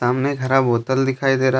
सामने एक हरा बोतल दिखाई दे रहा है।